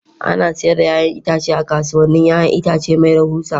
Ana sayar da 'ya'yan itatuwa a kasuwannin 'ya'yan itace mai rahusa